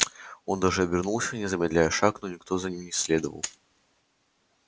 он даже обернулся не замедляя шаг но никто за ним не следовал